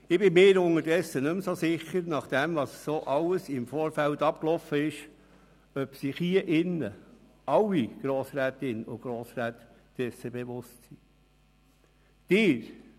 Ich bin mir unterdessen nicht mehr so sicher, ob sich alle Grossrätinnen und Grossräte dessen bewusst sind.